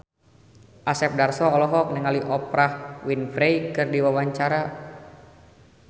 Asep Darso olohok ningali Oprah Winfrey keur diwawancara